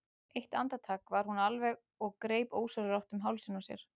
Eitt andartak var hún alvarleg og greip ósjálfrátt um hálsinn á sér.